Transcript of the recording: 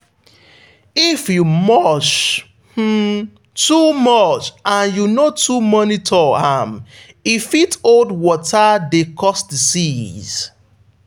if you mulch um too much and you no too monitor am e fit hold water dey cause disease.